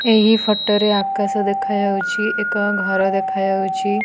ଏହି ଫଟୋ ରେ ଆକାଶ ଦେଖା ଯାଉଚି ଏକ ଘର ଦେଖା ଯାଉଛି।